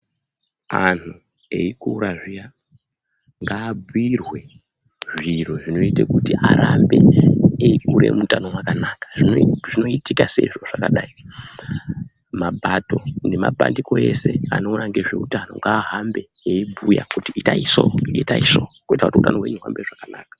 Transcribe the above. Anhu eikura zviya ngaaabhirwe zviro zvinoite kuti arambe eikure muutano hwakanaka zvinoitika seizvo zvakadai mapato ne mapandiko ese anoona ngezve utano ngaa hambe eibhuya kuti itai so itai so kuti hutano hwenyu hwuhambe zvakanaka.